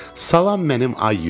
Salam mənim ay yüzlüm.